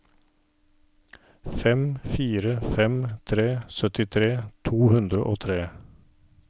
fem fire fem tre syttitre to hundre og tre